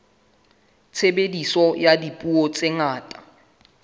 tshebediso ya dipuo tse ngata